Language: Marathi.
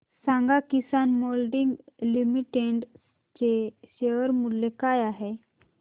सांगा किसान मोल्डिंग लिमिटेड चे शेअर मूल्य काय आहे